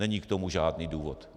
Není k tomu žádný důvod.